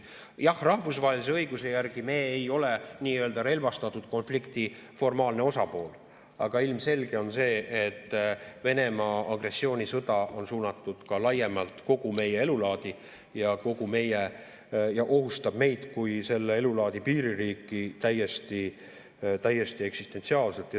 Jah, rahvusvahelise õiguse järgi me ei ole nii-öelda relvastatud konflikti formaalne osapool, aga ilmselge on see, et Venemaa agressioonisõda on suunatud ka laiemalt kogu meie elulaadi ja ohustab meid kui selle elulaadi piiririiki täiesti eksistentsiaalselt.